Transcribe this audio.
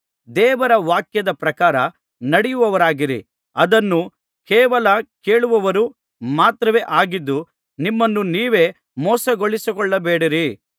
ದೇವರ ವಾಕ್ಯದ ಪ್ರಕಾರ ನಡೆಯುವವರಾಗಿರಿ ಅದನ್ನು ಕೇವಲ ಕೇಳುವವರು ಮಾತ್ರವೇ ಆಗಿದ್ದು ನಿಮ್ಮನ್ನು ನೀವೇ ಮೋಸಗೊಳಿಸಿಕೊಳ್ಳಬೇಡಿರಿ